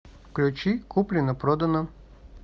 включи куплено продано